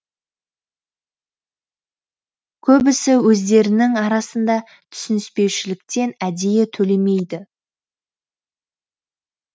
көбісі өздерінің арасында түсініспеушіліктен әдейі төлемейді